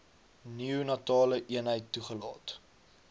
neonatale eenheid toegelaat